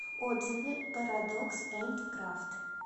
отзывы парадокс энд крафт